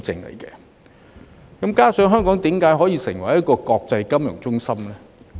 同時，為何香港可以成為國際金融中心呢？